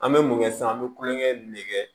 An bɛ mun kɛ sisan an bɛ kulonkɛ ne kɛ